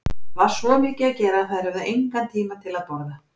Það var svo mikið að gera að þær höfðu engan tíma til að borða.